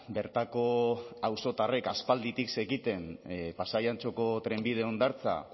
bertako auzotarrek aspalditik zekiten pasai antxoko trenbide hondartza